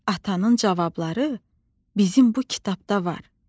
atanın cavabları bizim bu kitabda var.